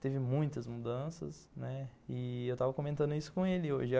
Teve muitas mudanças, né, e eu estava comentando isso com ele hoje.